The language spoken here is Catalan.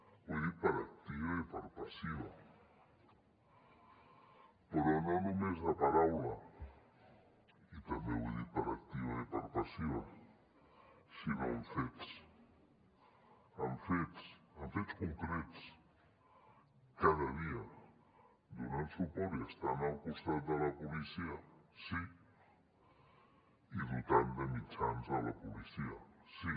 ho he dit per activa i per passiva però no només de paraula i també ho he dit per activa i per passiva sinó amb fets amb fets amb fets concrets cada dia donant suport i estant al costat de la policia sí i dotant de mitjans la policia sí